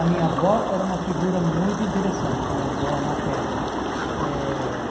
A minha avó era uma figura muito interessante, minha avó materna. Eh